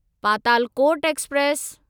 Patalkot express